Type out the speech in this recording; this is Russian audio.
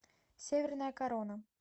северная корона